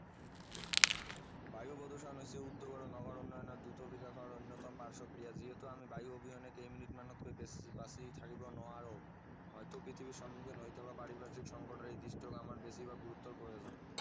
বায়ু প্ৰদষণ হৈছে উদ্যোগ আৰু নগৰ উন্নয়নৰ দ্ৰুত বিকাশৰ অন্য়তম পাৰ্শ্বক্ৰিয়া যিহেতু আমি বায়ু আবহলে কেই মিনিট মানতকৈ বেছি বাছি থাকিব নোৱাৰোঁ হয়টো পৃথিৱীৰ সন্মুখীন হৈ থকা পাৰিপাৰ্শিক সংকতৰ এই দিশটোক আমাৰ বেছিভাগ গুৰুত্বৰ প্ৰয়োজন